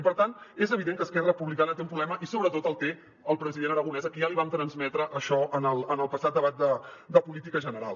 i per tant és evident que esquerra republicana té un problema i sobretot el té el president aragonès a qui ja vam transmetre això en el passat debat de política general